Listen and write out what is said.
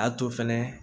A to fɛnɛ